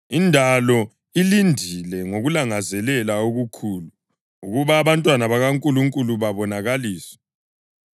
Indalo ilindile ngokulangazelela okukhulu ukuba abantwana bakaNkulunkulu babonakaliswe.